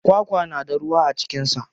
Kwakwa na da ruwa a cikin sa.